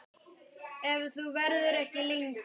Ef þú verður ekki lengi.